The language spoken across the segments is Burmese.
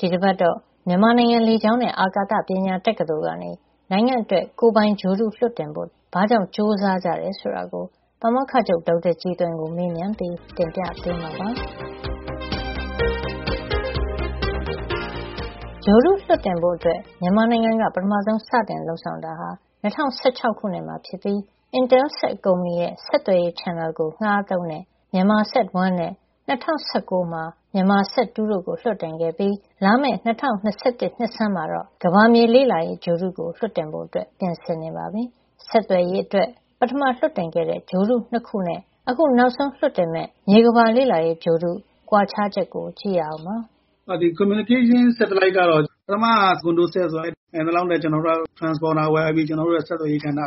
ဒီတပတ်တော့ မြန်မာနိုင်ငံ လေကြောင်းနဲ့ အာကာသကညာ တက္ကသိုလ်ကနေ နိုင်ငံ့အတွက် ကိုယ်ပိုင်ဂြိုဟ်တု လွှတ်တင်ဖို့ ဘာကြောင့် ကြိုးစားကြတယ် ဆိုတာကို ပါမောက္ခချုပ် ဒေါက်တာကြည်သွင်ကို မေးမြန်းပြီး တင်ပြပေးမှာပါ။ ဂြိုဟ်တုလွှတ်တင်ဖို့ အတွက် မြန်မာနိုင်ငံက ပထမဆုံးစပြီး လုပ်ဆောင်တာဟာ ၂၀၁၆ ခုနှစ်မှာ ဖြစ်ပြီး Intelsat ကုမ္ပဏီရဲ့ ဆက်သွယ်ရေး channel လိုင်းကို ငှါးသုံးတဲ့ MyanmarSat 1 နဲ့ ၂၀၁၉ မှာ MyanmarSat 2 တို့ကို လွှတ်တင်ခဲ့ပြီး လာမယ့် ၂၀၂၁ နှစ်ဆန်းမှာတော့ ကမ္ဘာမြေလေ့လာရေး ဂြိုဟ်တုကို လွှတ်တင်ဖို့ အတွက် ပြင်ဆင်နေပါပြီ။ ဆက်သွယ်ရေးအတွက် ပထမလွှတ်တင်ခဲ့တဲ့ ဂြိုဟ်တု ၂ ခုနဲ့ အခု နောက်ဆုံးလွှတ်တင်မယ့် မြေကမ္ဘာလေ့လာရေးဂြိုဟ်တု ကွာခြားချက်ကို ကြည့်ရအောင်ပါ။ “ဒီ communication satellite ဆက်သွယ်ရေးဂြိုဟ်တုကတော့ ပထမကcondosat ဆိုတာ- နိုင်သလောက်နဲ့ transponder ဝယ်ပြီး ကျနော်တို့ရဲ့ ဆက်သွယ်ရေးကဏ္ဍမှာ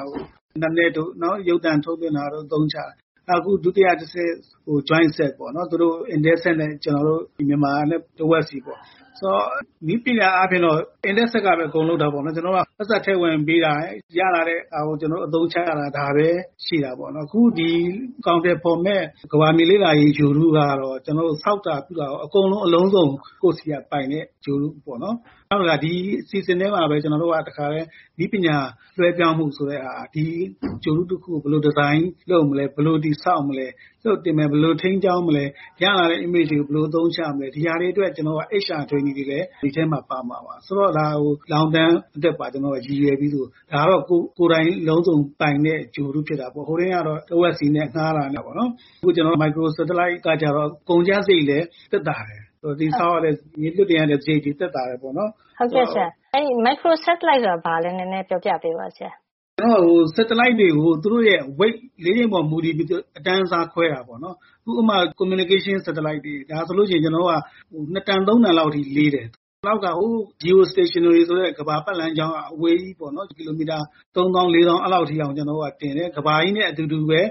အင်တာနက်တို့ ရုပ်သံထုတ်လွှတ်တာတို့ကို အသုံးချတယ်။ နောက် အခု ဒုတိယတဆင့်က jointSat ပေါ့နော်။ intelSat နဲ့ ကျနော်တို့ မြန်မာနဲ့ တဝက်စီပေါ့။ ဆိုတော့ နည်းပညာအားဖြင့်က Intelsat က အကုန်လုပ်တာပေါ့နော်။ ကျနော်တို့က ပိုက်ဆံထည့်ဝင်ပေးတာ၊ ရလာတဲ့ဟာကို ကျနော်တို့ အသုံးချတာ။ ဒါပဲရှိတာပေါ့နော်။ အခုဒီ အကောင်အထည်ဖေါ်မယ့် ကမ္ဘာမြေ လေ့လာရေးဂြိုဟ်တုကတော့ ကျနော်တို့ ဆောက်တာ ပြုတာရော အကုန်လုံး အလုံးစုံ ကိုယ့်ဆီက ပိုင်တဲ့ ဂြိုဟ်တုပေါ့နော်။ နောက် ဒီအစီအစဉ်ထဲမှာပဲ ကျနော်တို့က တခါထဲ နည်းပညာလွှဲပြောင်းမှု ဆိုတဲ့ဟာ၊ ဒါက ဒီဂြိုဟ်တု တခုကို ဘယ်လို ဒီဇိုင်း လုပ်မလဲ၊ ဘယ်လိုတည်ဆောက်မလဲ၊ လွှတ်တင်မလဲ၊ ဘယ်လိုထိန်းကျောင်းမလဲ၊ ရလာတဲ့ image ဓါတ်ပုံတွေကို ဘယ်လို အသုံးချမလဲ၊ ဒီဟာတွေအတွက် HR training သင်တန်းပေးလေ့ကျင့်တာတွေလည်း ဒီအထဲမှာ ပါမှာပါ။ ဒါက ရေရှည်အတွက်ပါ ရည်ရွယ်ပြီး လုပ်တာပါ။ ဒါက ကိုယ်တိုင် အလုံးစုံ ပိုင်တဲ့ ဂြိုဟ်တု ဖြစ်တာပေါ့။ ဟိုတုန်းကတော့ တဝက်စီနဲ့ ငှါးတာနဲ့ ပေါ့နော်။ အခု မိုက်ခရို စက်တလိုက် microsatellite ကတော့ ကုန်ကျစားရိတ်လည်း သက်သာတယ်။ ဆိုတော့ လွှတ်တင်ရတဲ့ စားရိတ်တွေကလည်း သက်သာတယ် ပေါ့နော်။” “ဟုတ်ကဲ့ဆရာ မိုက်ခရို စက်တလိုက်ကို ရှင်းပြပေးပါ။” “စက်တလိုက်တွေကို သူတို့ရဲ့ weightအလေးချိန်ပေါ် မူတည်ပြီး အတန်းအစား ခွဲတာပေါ့နော်။ ဥပမာ ဆက်သွယ်ရေးဂြိုဟ်တု communication satellite ဆိုရင် ၂ တန်- ၃ တန်လောက်အထိ လေးတယ်။ နောက် geostationary ဆိုတဲ့ ကမ္ဘာပတ်လမ်းက အဝေးကြီး ပေါ့နော်။ ကီလိုမီတာ ၃ သောင်း ၄ သောင်း အဲဒီ လောက်အထိကို တင်တယ်။ ကမ္ဘာကြီးနဲ့ အတူတူပဲ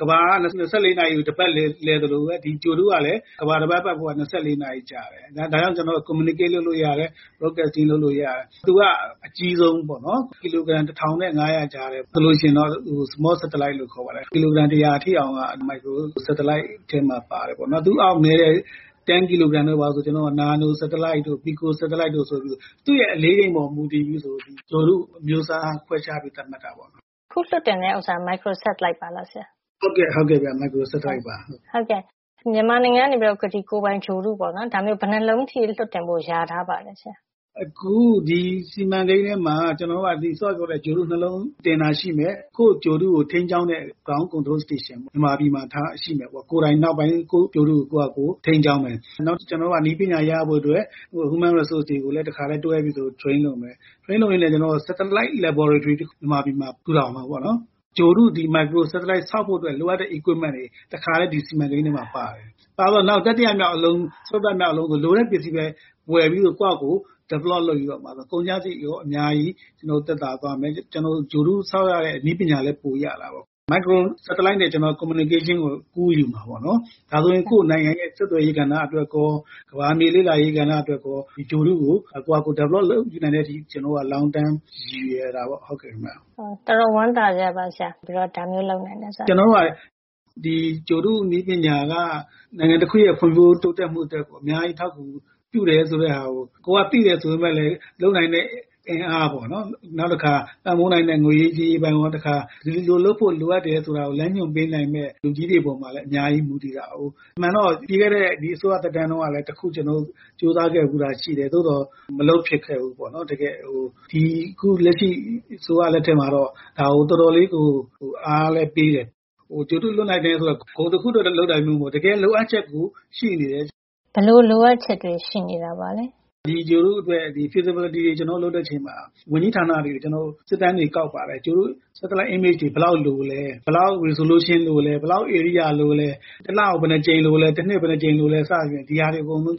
ကမ္ဘာက ၂၄ နာရီမှာ တပတ်လည် သလိုပဲ ဒီဂြိုဟ်တု ကလည်း ကမ္ဘာတပတ် ပတ်ဖို့ရာ ၂၄ နာရီ ကြာတယ်။ ဒါကြောင့် ကျနော်တို့က communicate လုပ်လို့ ဆက်သွယ်လို့ရတယ်။ broadcasting အသံလွှင့်လို့ ရတယ်။ သူက အကြီးဆုံး ပေါ့နော်။ ကီလိုဂရမ် တထောင်နဲ့ ငါးရာ ကြားထဲမှာ လေးတယ်။ ကီလိုဂရမ် တရာ အထိအောင်က မိုက်ခရိုစက်တလိုက် ထဲ ပါပါတယ်။ သူ့အောက် နဲတဲ့ ၁၀ ကီလိုဂရမ် တို့. ဘာတို့က နာနိုစက်တလိုက်တို့၊ ပီဆို စက်တလိုက်တို့ ဆိုပြီး သူ့ရဲ့ အလေးချိန်ပေါ် မူတည်ပြီး ဂြိုဟ်တုအမျိုးအစား ကို ခွဲခြားသတ်မှတ်တာပါ။” “အခုလွှတ်တင်တဲ့ ဟာက Micro Satellite ပါလား ဆရာ။” “ဟုတ်ပါတယ်။” “ဒီမြန်မာနိုင်ငံကနေပြီးတော့ ဒီလိုမျိုး ကိုယ်ပိုင်ဂြိုဟ်တု ဘယ်နှစ်လုံးလောက် လွှတ်တင်ဖို့ လျာထား ပါလဲဆရာ။” “အခု ဒီစီမံကိန်းထဲမှာ စောစောက ပြောတဲ့ ဒီ ဂြိုဟ်တု ၂ လုံးတင်မှာ ရှိတယ်။ ကိုယ့်ဂြိုဟ်တုကို ထိန်းကျောင်းမယ့် ground control station မြေပြင်ထိန်းချုပ်ရေးစခန်း မြန်မာပြည်မှာထားရှိမယ်ပေါ့။ ကိုယ်တိုင် နောက်ပိုင်း ကိုယ့်ဂြိုဟ်တုကို ကိုယ့်ဟာကိုယ် ထိန်းကျောင်း မယ်ပေါ့နော်။ ကျနော်တို့က နည်းပညာ ရဖို့ အတွက် Human Resources တွေကိုလည်း တွဲပြီးတော့ train လုပ်မယ်။ ထရိန်းလုပ်ရင်းနဲ့ စက်တလိုက် laboratory ဓါတ်ခွဲခန်း မြန်မာပြည်မှာ ထူထောင်မယ် ပေါ့နော်။ ဂြိုဟ်တု - ဒီမိုက်ခရိုစက်တလိုက် ဆောက်ဖို့ လိုအပ်တဲ့ စက်ပစ္စည်းတွေ တွေ တခါထဲ ဒီစီမံကိန်း ထဲမှာ ပါတယ်။ ပါတော့ ၊ နောက် တတိယမြောက် အလုံး ဆို လိုတဲ့ ပစ္စည်းပဲ ဝယ်ပြီးတော့ ကိုယ့်ဟာကိုယ် develop လုပ်ပြီးတော့ ဆိုရင် ကုန်ကျစားရိတ်လည်း အများကြီးသက်သာသွားမယ်။ ဂြိုဟ်တု ဆောက်ရမယ့် နည်းပညာလည်း ပိုရတာပေါ့။ ဒီမိုက်ခရို စက်တလိုက်နဲ့ ကျနော်တို့က communication ဆက်သွယ်ရေးကို ကူးယူမယ် ပေါ့နော်။ ဒါဆိုရင် ကိုယ့် နိုင်ငံရဲ့ ဆက်သွယ်ရေး ကဏ္ဍ အတွက်ရော၊ ကမ္ဘာမြေ လေ့လာရေးကဏ္ဍ အတွက်ရော ဒီဂြိုဟ်တုကို ကိုယ့်ဟာကိုယ် တည်ဆောက် နိုင်တဲ့အထိ ကျနော်တို့က ရေရှည် ရည်ရွယ်တာပေါ့ခင်ဗျ။” ဒါ တော်တော်ဝမ်းသာစရာပါ ဆရာ၊ ဒါမျိုး လုပ်နိုင်တယ် ဆိုတာလေ။ “ကျနော်တို့က ဒီဂြိုဟ်တုနည်းပညာက နိုင်ငံတခုရဲ့ ဖွံ့ဖြိုး တိုးတက်မှု အတွက် အများကြီး အထောက်အကူ ပြုတယ် ဆိုတဲ့ဟာကို သိတယ် ဆိုပေမယ့်လည်း လုပ်နိုင်တဲ့ အင်အားပေါ့နော်၊ နောက်တခါ ပံ့ပိုးနိုင်တဲ့ ငွေရေး ကြေးရေးပိုင်းရော၊ တခါ ဒီလို လုပ်ဖို့ လိုအပ်တယ် ဆိုတာကို လမ်းညွှန်ပေးနိုင်တဲ့ လူကြီးတွေ ပေါ်မှာလည်း အများကြီး မူတည်ပါတယ်။ အမှန်တော့ ပြီးခဲ့တဲ့ အစိုးရသက်တမ်း တုန်းကလည်း တခု ကြိုးစား ခဲ့ဘူးတာ ရှိတယ်။ သို့သော် မလုပ်ဖြစ်ခဲ့ ဘူး ပေါ့နော်။ အခု လက်ရှိ အစိုးရ လက်ထက်မှာတော့ ဒါကို တော်တော် လေးကို အားလည်း ပေးတယ်။ ဒီ ဂြိုဟ်တု လွှတ်နိုင်တယ် ဆိုတာ ဂုဏ်တခုအတွက် လုပ်တာမျိုး မဟုတ်ဖူး။ တကယ်လိုအပ်ချက်ကို ရှိနေတာ။” “ဘယ်လို လိုအပ်ချက်ပါလဲ၊” “ဒိဂြိုဟ်တုအတွက် feasibility ဖြစ်နိုင်ချေ တွေကို တွက်ဖို့ လုပ်တဲ့ အခါ ဒီ ဝန်ကြီးဌာနတွေကို ကျနော်တို့ စစ်တမ်းတွေ ကောက်ပါတယ်။ ဒီ Satellite Image ကောင်းကင်ဂြိုဟ်တု ဓါတ်ပုံတွေ ဘယ်လောက် လိုသလဲ၊ ဘယ်လောက် resolution လိုသလဲ၊ ဘယ်လောက် ဧရိယာ လိုသလဲ၊ တလကို ဘယ်နှစ်ကြိမ် လိုသလဲ၊ တနှစ်ကို ဘယ်နှစ်ကြိမ် လိုသလဲ စသဖြင့် ဒီဟာတွေ အကုန်လုံး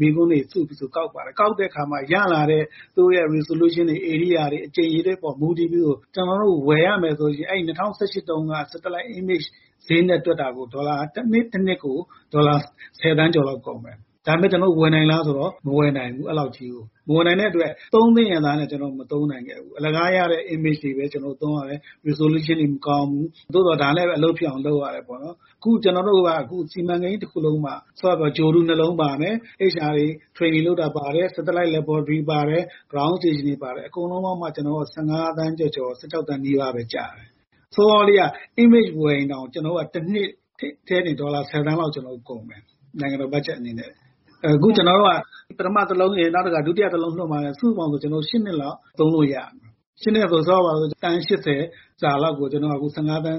မေးခွန်းတွေ စုပြီးတော့ ကောက်ပါတယ်။ ကောက်တဲ့ အခါမှာ ရလာတဲ့ သူတို့ရဲ့ resolution တွေ၊ ဧရိယာတွေ အကြိမ် အရေအတွက် တွေပေါ် မူတည်ပြီးတော့ ကျနော်တို့ ဝယ်ရမယ် ဆိုရင် အဲဒီ ၂၀၁၈ တုန်းက ဂြိုဟ်တုဓါတ်ပုံ ဈေးနဲ့ တွက်တာကို တနှစ်တနှစ်ကို ဒေါ်လာ ဆယ်သန်းကျော် လောက် ကုန်မယ်။ ဒါပေမယ့် ကျနော်တို့ ဝယ်နိုင်လား ဆိုတော့ မဝယ်နိုင်ဘူး။ အဲဒီလေက်ကြီးကို။ မဝယ်နိုင်တဲ့ အတွက် သုံးသင့်ရဲ့ သားနဲ့ကျနော်တို့ မသုံးနိုင်ခဲ့ဘူး။ အလကားရတဲ့ image ပုံတွေပဲ ကျနော်တို့ သုံးရတယ်။ ပုံရိပ်ပြတ်သားမှု - resolution တွေက မကောင်းဘူး။ သို့သော် ဒါနဲ့ပဲ အလုပ်ဖြစ်အောင် လုပ်ရတယ် ပေါ့နော်။ အခု ကျနော်တို့က ဒီ စီမံကိန်း တခုလုံးမှ စောစောက ပြောသလို ဂြိုဟ်တု ၂ လုံးပါမယ်။ HR တွေ ထရိန်နင် လုပ်တာ ပါတယ်။ satellite lab ပါတယ်။ မြေပြင်ထိန်းသိမ်းရေး စခန်း ground station တွေ ပါတယ်။ အကုန်လုံးပေါင်းမှာ ကျနော်တို့က ၁၅ သန်း ကျော်ကျော် ၁၆ သန်း နီးပါးပဲ ကျတယ်။ ဆိုတော့ စောစောလေးက image ဝယ်ရင်တောင် ကျနော်တို့က တနှစ်ထဲတင် ဒေါ်လာ ဆယ်သန်းလောက် ကုန်မယ်။ နိုင်ငံတော် ဘတ်ဂျက် အနေနဲ့။ အခု ကျနော်တို့က ပထမ တလုံရယ် နောက်တခါ ဒုတိယအလုံးလွှတ်မှာက စုစုပေါင်း ၈ နှစ်လောက် သုံးလို့ ရတယ်။ ၈ နှစ်ဆို ထားပါတော့ သန်း ၈၀ စာလောက်ကို ကျနော်တို့က ၁၅ သန်း ၁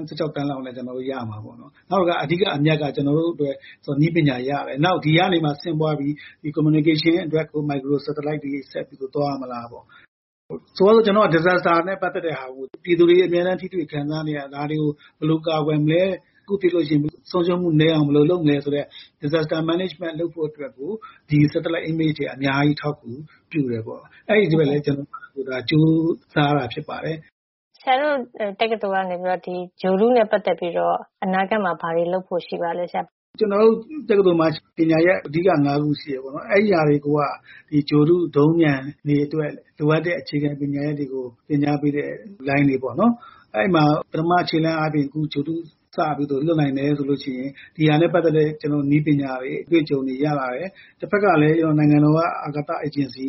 ၆ သန်းနဲ့ ရမှာ ပေါ့နော်။ နောက်အဓိက အမြတ်က ကျနော်တို့အတွက် နည်းပညာ ရတယ်။ နောက် ဒီကနေမှ ဆင့်ပွါးပြီး ဆက်သွယ်ရေး communication အတွက် မိုက်ခရို satellite တွေ ဆက်ပြီးတော့ သွားမလားပေါ့။ ဆိုပါတော့ သဘာဝ ဘေးအန္တရာယ် disasters တွေနဲ့ ပတ်သက်ပြီး ပြည်သူတွေ အမြဲတမ်း ထိတွေ့ခံစား နေရတာ၊ ဒါတွေကို ဘယ်လို ကာကွယ်မလဲ။ တခုခု ဖြစ်လို့ရှိရင် ဆုံးရှုံးမှုနည်းအောင် ဘယ်လို လုပ်မလဲ ဆိုတဲ့ သဘာဝ ဘေးအန္တရာယ် စီမံခန့်ခွဲမှု လုပ်ဖို့ disasters management လုပ်ဖို့ အတွက် ဒီ satellite images ဂြိုဟ်တုဓါတ်ပုံ တွေက အများကြီး အထောက် အကူပြုတယ်ပေ့ါ။ အဲဒီအတွက်ကို ကျနော်တို့က ကြိုးစားရတာ ဖြစ်ပါတယ်။” “ဆရာတို့ တက္ကသိုလ်ကနေပြီးတော့ ဒီဂြိုဟ်တုနဲ့ ပတ်သက်ပြီး အနာဂတ်မှာ ဘာတွေ လုပ်ဖို့ ရှိပါလဲဆရာ။” “ကျနော်တို့ တက္ကသိုလ်မှာ အဓိကပညာရပ် ၅ ခု ရှိတယ်ပေါ့နော်။ အဲဒါတွေက ဒီဂြိုဟ်တု၊ ဒုံးပျံတွေ အတွက် လိုအပ်တဲ့ အခြေခံပညာ တွေကို သင်ကြား ပေးတဲ့ လိုင်းတွေ ပေါ့နော်။ အဲဒီမှာ ပထမ ခြေလှမ်းအားဖြင့် ဒီဂြိုဟ်တု စပြီးတော့ လွှတ်နိုင်မယ် ဆိုလို့ရှိရင် ဒီဟာနဲ့ပတ်သက်တဲ့ နည်းပညာတွေ၊ အတွေ့အကြုံတွေ ရလာမယ်။ တဖက်ကလည်း နိုင်ငံတော်က အာကာသ အေဂျင်စီ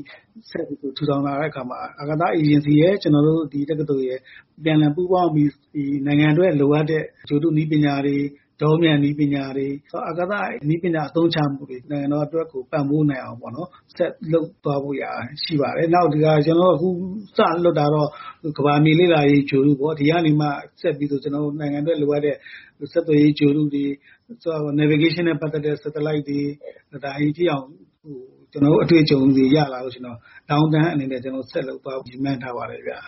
ထူထောင် လာတဲ့ အခါမှာ အဲဒီ အာကာသအေဂျင်စီရယ်၊ ကျနော်တို့ တက္ကသိုလ်ရယ် အပြန်အလှန် ပူးပေါင်းပြီး နိုင်ငံအတွက် လိုအပ်တဲ့ ဂြိုဟ်တုနည်းပညာတွေ၊ ဒုံးပျံနည်းပညာတွေ၊ အာကာသနည်းပညာ အသုံးချမှုတွေနဲ့ နိုင်ငံတော်အတွက်ကို ပံ့ပိုးနိုင်အောင် ပေါ့နော်၊ ဆက်လုပ်သွားဖို့ ရှိပါတယ်။ နောက် အခု ကျနော်တို့ စလွှတ်တာကတော့ ကမ္ဘာမြေ လေ့လာရေး ဂြိုဟ်တုပေါ့။ ဒါကနေမှ ဆက်ပြီး နိုင်ငံအတွက် လိုအပ်တဲ့ ဆက်သွယ်ရေး ဂြိုဟ်တုတွေ၊ navigation လမ်းညွှန်တာနဲ့ ပတ်သက်တဲ့ ဂြိုဟ်တု satellite တွေ၊ အဲဒီအထိအောင် ကျနော်တို့ အတွေ့အကြုံတွေ ရလာတဲ့ အချိန်မှာ ရေရှည်အနေနဲ့ ဆက်လုပ်သွားဖို့ ရည်မှန်းထားပါတယ်ဗျ။”